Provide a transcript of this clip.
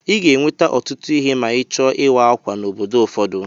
I ga-eweta ọtụtụ ihe ma ịchọọ ịwa ákwà n'obodo ụfọdụ.